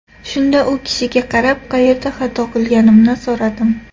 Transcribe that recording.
Shunda u kishiga qarab, qayerda xato qilganimni so‘radim.